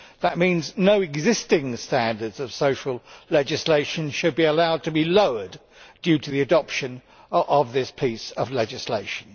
That means no existing standards of social legislation should be allowed to be lowered due to the adoption of this piece of legislation.